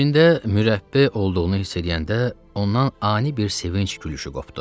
İçində mürəbbə olduğunu hiss eləyəndə ondan ani bir sevinc gülüşü qopdu.